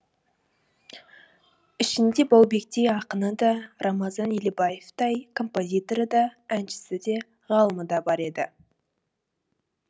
ішінде баубектей ақыны да рамазан елебаевтай композиторы да әншісі де ғалымы да бар еді